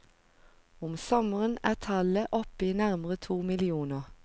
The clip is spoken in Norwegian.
Om sommeren er tallet oppe i nærmere to millioner.